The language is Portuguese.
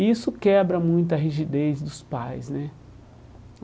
E isso quebra muito a rigidez dos pais, né?